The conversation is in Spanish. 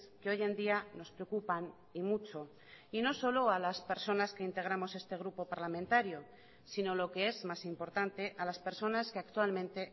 que hoy en día nos preocupan y mucho y no solo a las personas que integramos este grupo parlamentario sino lo que es más importante a las personas que actualmente